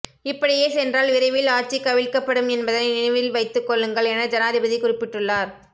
இப்படியே சென்றால் விரைவில் ஆட்சி கவிழ்க்கப்படும் என்பதனை நினைவில் வைத்துக் கொள்ளுங்கள் என ஜனாதிபதி குறிப்பிட்டுள்ளார்